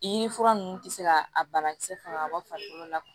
I ni fura ninnu tɛ se ka a banakisɛ faga farikolo la